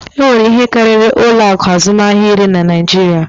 E nwere ihe karịrị ụlọ akụ azụmahịa iri na Naịjiria